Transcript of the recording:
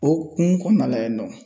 O hokumu kɔnɔna la yennɔ.